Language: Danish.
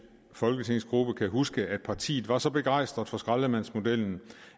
folketingsgruppe huske at partiet var så begejstret for skraldemandsmodellen